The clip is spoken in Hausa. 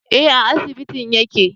Eh a asibitin yake